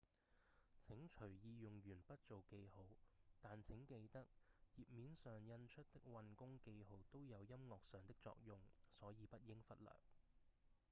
請隨意用鉛筆做記號但請記得頁面上印出的運弓記號都有音樂上的作用所以不應忽略